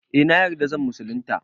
Eh na yarda zan musulunta